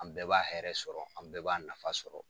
An bɛɛ b'a hɛrɛ sɔrɔ, an bɛɛ b'a nafa sɔrɔ.